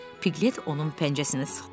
Piklət onun pəncəsini sıxdı.